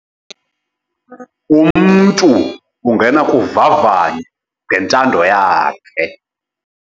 Umntu ungena kuvavanyo ngentando yakhe.